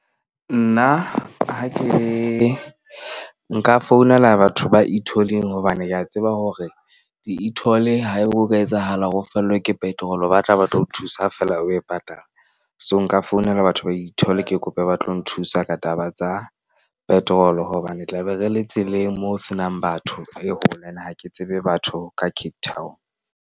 Nna ha ke nka founela batho ba e-toll-eng hobane ke a tseba hore di-e toll-e haebe ho ka etsahala hore fellwe ke petrol-o ba tla ba tlo thusa feela o e patala. So, nka founela batho ba e-toll-e ke kope ba tlo nthusa ka taba tsa petrol-o. Hobane tlabe re le tseleng moo ho senang batho e holo. Ene ha ke tsebe batho ka Cape Town.